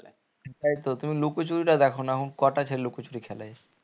তাই তো তুমি লুকোচুরি টা দেখো না এখন কোটা ছেলে লুকোচুরি খেলে